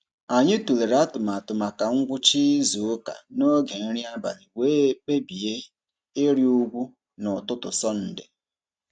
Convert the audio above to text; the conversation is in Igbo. Anyị tụlere atụmatụ maka ngwụcha izuụka n'oge nri abalị wee kpebie ịrị ugwu n'ụtụtụ Sọnde.